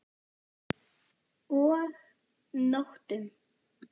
Og nóttum!